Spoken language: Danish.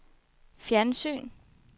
fjernsyn